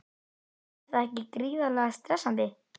Er það ekki gríðarlega stressandi?